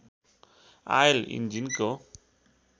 oil इन्जिनको